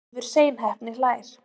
Leifur seinheppni hlær.